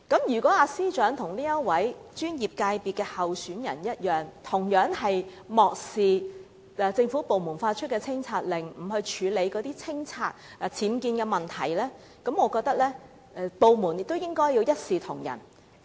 如果司長與該候選人一樣，同樣漠視政府部門發出的清拆令，不肯清拆僭建部分，我認為部門應該一視同仁。